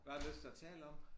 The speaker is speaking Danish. Hvad har du lyst til at tale om